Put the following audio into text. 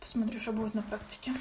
посмотрю что будет на практике